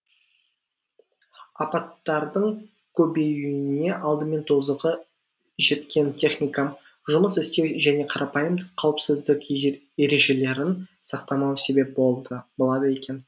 апаттардың көбеюіне алдымен тозығы жеткен техникам жұмыс істеу және қарапайым қауіпсіздік ережелерін сақтамау себеп болады екен